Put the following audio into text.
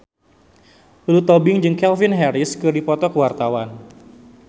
Lulu Tobing jeung Calvin Harris keur dipoto ku wartawan